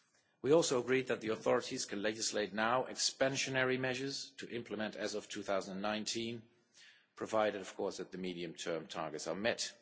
We also agreed that the authorities can now legislate expansionary measures to implement as of 2019, provided of course that the medium-term targets are met.